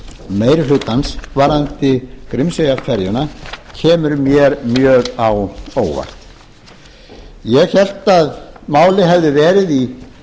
meiri hlutans varðandi grímseyjarferjuna kemur mér mjög á óvart ég hélt að málið hefði verið í